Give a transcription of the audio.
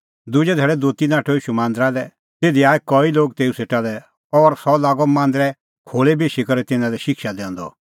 दुजै धैल़ै दोती नाठअ ईशू मांदरा लै तिधी आऐ कई लोग तेऊ सेटा लै और सह लागअ मांदरे खोल़ै बेशी करै तिन्नां लै शिक्षा दैंदअ